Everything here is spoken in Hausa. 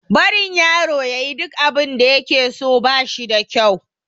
Barin yaro ya yi duk abinda ya ke so, ba shi da kyau.